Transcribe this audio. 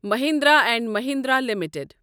Mahindra and Mahindra limited